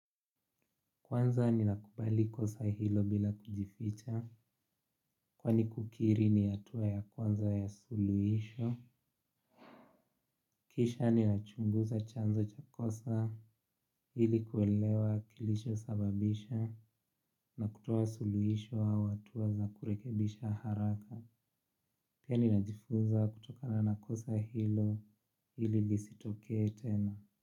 Kwanza ninakubali kosa hilo bila kujificha, kwani kukiri ni hatua ya kwanza ya suluhisho. Kisha ninachunguza chanzo cha kosa ili kuelewa kilichosababisha na kutoa suluhisho au hatua za kurekebisha haraka. Pia ninajifunza kutokana na kosa hilo ili lisitokee tena.